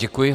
Děkuji.